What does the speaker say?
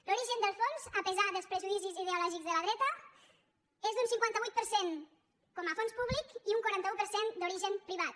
l’origen dels fons a pesar dels prejudicis ideològics de la dreta és d’un cinquanta vuit per cent com a fons públic i un quaranta un per cent d’origen privat